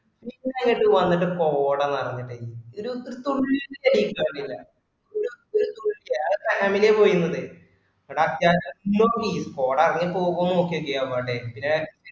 പിന്ന അങ്ങോട്ട് വന്നിട്ട് കോട നിറഞിട്ടെ ഒരു തുള്ളി ഒരു family പോയിൻഡ്‌ കോട എറങ്ങി പോവുന്ന് നോക്കിയാക്കി എവിടെ